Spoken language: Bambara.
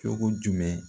Cogo jumɛn